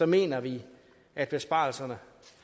mener vi at besparelserne